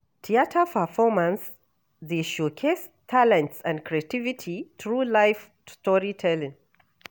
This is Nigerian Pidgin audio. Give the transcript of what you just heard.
Theater performances dey showcase talent and creativity through live storytelling.